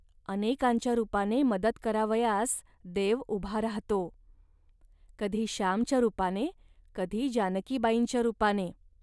अनेकांच्या रूपाने मदत करावयास देव उभा राहतो. कधी श्यामच्या रूपाने, कधी जानकीबाईंच्या रूपाने